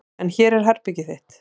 En hér er herbergið þitt.